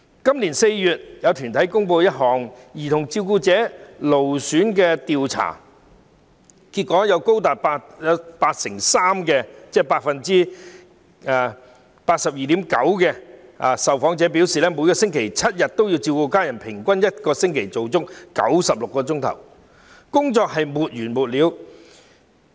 今年4月，有團體公布一項有關兒童照顧者勞損情況的調查，調查結果顯示，有高達 82.9% 受訪者1星期7天也要照顧家人，平均每星期工作96小時，似乎沒完沒了。